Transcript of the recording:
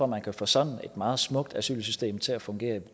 man kan få sådan et meget smukt asylsystem til at fungere